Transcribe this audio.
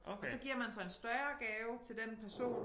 Og så giver man så en større gave til den person